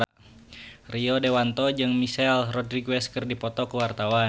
Rio Dewanto jeung Michelle Rodriguez keur dipoto ku wartawan